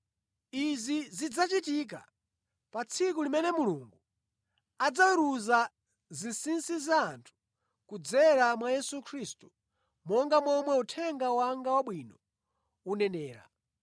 Izi zidzachitika pa tsiku limene Mulungu adzaweruza zinsinsi za anthu kudzera mwa Yesu Khristu, monga momwe Uthenga wanga Wabwino unenera.